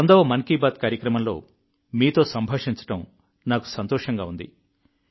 100వ మన్ కీ బాత్ కార్యక్రమంలో మీతో సంభాషించడం నాకు సంతోషంగా ఉంది